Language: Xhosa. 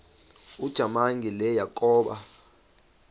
ujamangi le yakoba